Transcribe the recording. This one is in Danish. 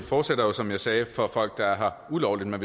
fortsætter jo som jeg sagde for folk der er her ulovligt men